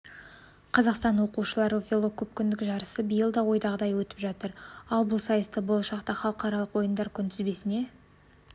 қазақстан оқушылары велокөпкүндік жарысы биыл да ойдағыдай өтіп жатыр ал бұл сайысты болашақта халықаралық ойындар күнтізбесіне